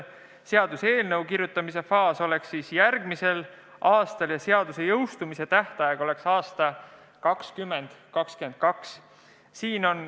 Seaduseelnõu koostamise faas oleks järgmisel aastal ja seaduse jõustumise tähtaeg oleks 2022. aastal.